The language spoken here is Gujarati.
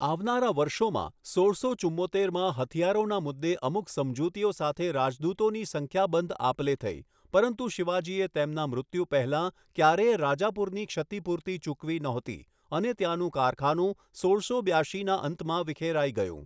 આવનારા વર્ષોમાં, સોળસો ચુમ્મોતેરમાં હથિયારોના મુદ્દે અમુક સમજૂતીઓ સાથે રાજદૂતોની સંખ્યાબંધ આપ લે થઈ, પરંતુ શિવાજીએ તેમના મૃત્યુ પહેલાં ક્યારેય રાજાપુરની ક્ષતિપૂર્તિ ચૂકવી નહોતી, અને ત્યાંનું કારખાનું સોળસો બ્યાશીના અંતમાં વિખેરાઈ ગયું.